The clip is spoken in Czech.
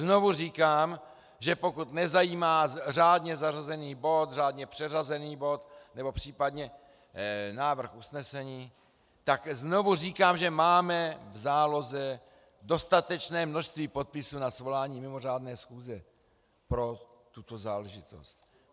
Znovu říkám, že pokud nezajímá řádně zařazený bod, řádně přeřazený bod nebo případně návrh usnesení, tak znovu říkám, že máme v záloze dostatečné množství podpisů na svolání mimořádné schůze pro tuto záležitost.